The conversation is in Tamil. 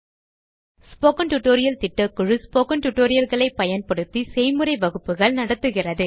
ஸ்போக்கன் டியூட்டோரியல் திட்டக்குழு ஸ்போக்கன் டியூட்டோரியல் களை பயன்படுத்தி செய்முறை வகுப்புகள் நடத்துகிறது